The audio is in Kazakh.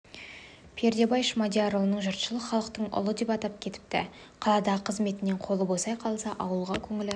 пердебай шмадиярұлын жұртшылық халықтың ұлы деп атап кетіпті қаладағы қызметінен қолы босай қалса ауылға көңілі